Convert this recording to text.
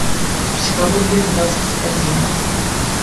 психология двадцать один